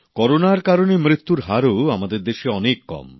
করোনার কারণে মৃত্যুর হারও আমাদের দেশে অনেক কম